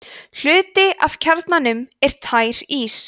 hluti af kjarnanum er tær ís